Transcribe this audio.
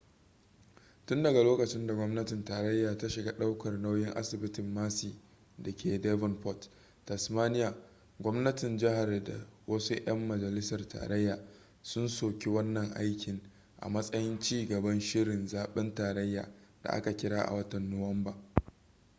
tun daga lokacin da gwamnatin tarayya ta shiga daukar nauyin asibitin mersey da ke devonport tasmania gwamnatin jihar da wasu 'yan majalisar tarayya sun soki wannan aikin a matsayin ci gaban shirin zaben tarayya da za a kira a watan nuwamba